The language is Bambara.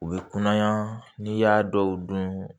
U bɛ kunnaya n'i y'a dɔw dun